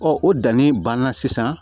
Ɔ o danni banna sisan